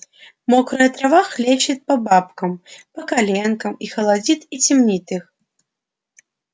мокрая трава хлещет по бабкам по коленкам и холодит и темнит их